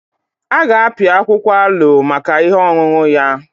A ga-apịa akwụkwọ aloe maka ihe ọṅụṅụ ya.